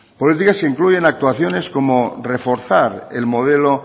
políticas que incluyen actuaciones como reforzar el modelo